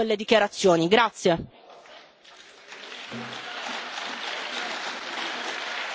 We take note of your comments and we also have a point of order from Ms García Pérez.